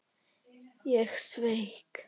Ég sveik.